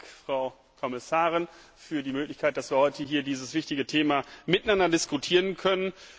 Vielen Dank, Frau Kommissarin, für die Möglichkeit, dass wir heute hier dieses wichtige Thema miteinander diskutieren können.